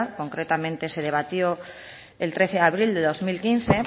concretamente se debatió el trece de abril de dos mil quince